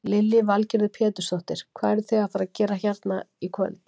Lillý Valgerður Pétursdóttir: Hvað eruð þið að fara að gera hérna í kvöld?